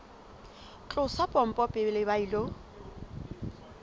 tlosa pompo pele ba ilo